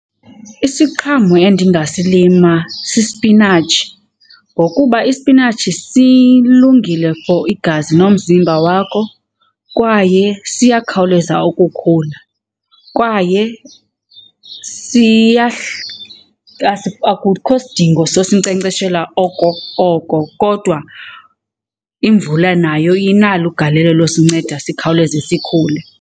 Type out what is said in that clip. Isiqhamo endingasilima sisipinatshi ngokuba isipinatshi silungile for igazi nomzimba wakho kwaye siyakhawuleza ukukhula. Kwaye akukho sidingo sosinkcenkceshela oko oko kodwa imvula nayo inalo igalelo losinceda sikhawuleze sikhule.